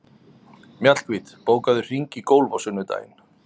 Mjallhvít, bókaðu hring í golf á sunnudaginn.